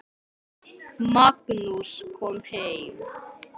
Magnús kom heim.